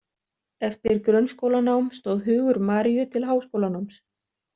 Eftir grunnskólanám stóð hugur Mariu til háskólanáms.